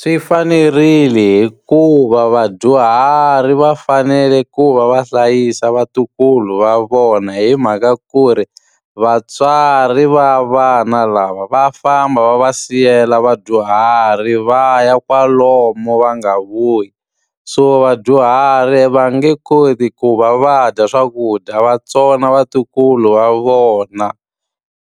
Swi fanerile hikuva vadyuhari va fanele ku va va hlayisa vatukulu va vona hi mhaka ku ri, vatswari va vana lava va famba va va siyela vadyuhari va ya kwalomu va nga vuyi. So vadyuhari va nge koti ku va va dya swakudya va tsona vatukulu va vona.